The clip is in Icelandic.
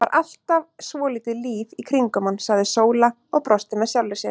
Það var alltaf svolítið líf í kringum hann, sagði Sóla og brosti með sjálfri sér.